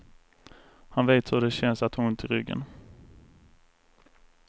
Han vet hur det känns att ha ont i ryggen.